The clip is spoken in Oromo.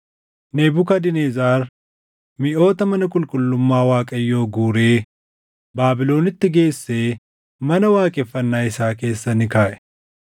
Nebukadnezar miʼoota mana qulqullummaa Waaqayyoo guuree Baabilonitti geessee mana waaqeffannaa isaa keessa ni kaaʼe.